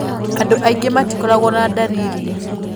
Andũ aingĩ matikoragwo na ndariri.